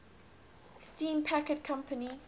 steam packet company